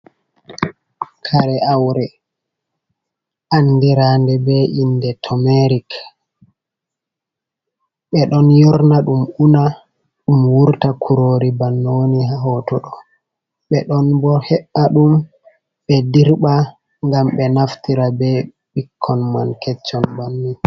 Kare awre andirande be inde tomerik, ɓe ɗon yorna ɗum una ɗum wurta kurori bannoni woni ha hoto ɗo, ɓe ɗon bo he’a ɗum ɓe dirɓa gam ɓe naftira be ɓikkon man keccon banin.